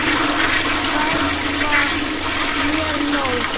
Það var mér nóg.